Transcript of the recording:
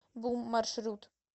бум маршрут